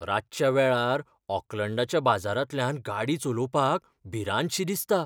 रातच्या वेळार ओकलॅंडाच्या बाजारांतल्यान गाडी चलोवपाक भिरांतशी दिसता.